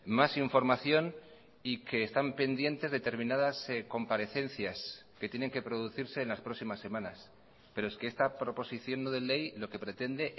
más información y que están pendientes determinadas comparecencias que tienen que producirse en las próximas semanas pero es que esta proposición no de ley lo que pretende